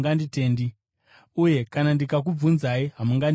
uye kana ndikakubvunzai, hamungandipinduri.